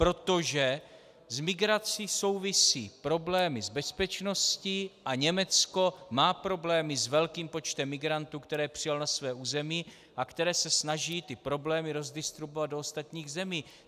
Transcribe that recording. Protože s migrací souvisí problémy s bezpečností a Německo má problémy s velkým počtem migrantů, které přijalo na své území, a které se snaží ty problémy rozdistribuovat do ostatních zemí.